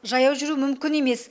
жаяу жүру мүмкін емес